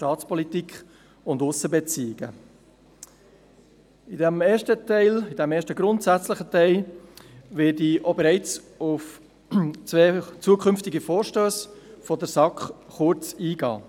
Im ersten grundsätzlichen Teil werde ich bereits auf zwei Vorstösse der SAK kurz eingehen.